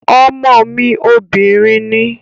Ọmọ mi obìnrin ni